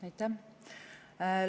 Aitäh!